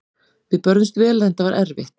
Við börðumst vel en þetta var erfitt.